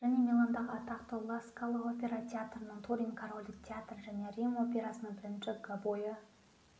және миландағы атақты ла скала опера театрының турин корольдік театры және рим операсының бірінші гобойы